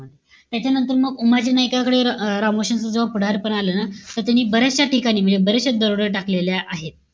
त्याच्यानंतर मग उमाजी नाईककाकडे रा रामोश्यांच्या जेव्हा पुढारपण आलं ना त त्यांनी बर्याचश्या ठिकाणी म्हणजे बरेचशे दरोडे टाकलेले आहे.